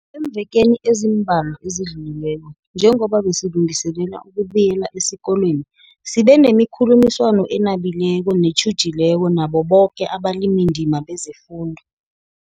Eemvekeni ezimbalwa ezidlulileko, njengoba besilungiselela ukubuyela esikolweni, sibenemikhulumiswano enabileko netjhujileko nabo boke abalimindima kezefundo.